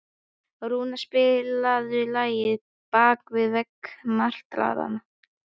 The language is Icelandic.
Rúnar, spilaðu lagið „Bak við veggi martraðar“.